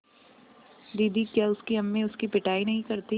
दीदी क्या उसकी अम्मी उसकी पिटाई नहीं करतीं